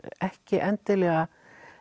ekki endilega